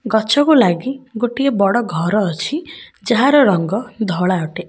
ଗଛକୁ ଲାଗି ଗୋଟେ ବଡ଼ ଘର ଅଛି ଯାହାର ରଙ୍ଗ ଧଳା ଅଟେ।